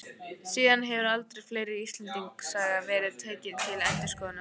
Síðan hefur aldur fleiri Íslendingasagna verið tekinn til endurskoðunar.